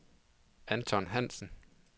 Anton Hansen